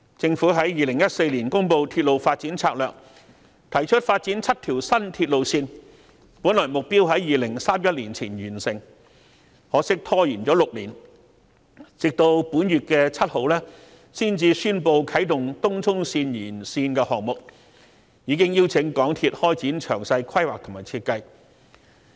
政府在2014年公布《鐵路發展策略2014》，提出發展7條新鐵路線，本來目標在2031年前完成，可惜拖延了6年，直到本月7日才宣布啟動東涌綫延綫項目，已邀請香港鐵路有限公司開展詳細規劃及設計。